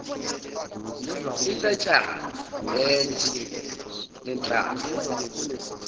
intatshana yetshe lenhlaba